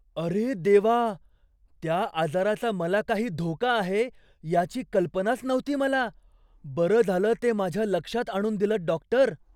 अरे देवा! त्या आजाराचा मला काही धोका आहे याची कल्पनाच नव्हती मला. बरं झालं ते माझ्या लक्षात आणून दिलंत, डॉक्टर.